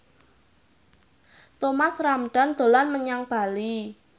Thomas Ramdhan dolan menyang Bali